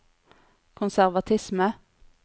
konservatisme